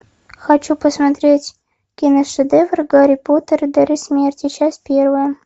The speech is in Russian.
хочу посмотреть киношедевр гарри поттер и дары смерти часть первая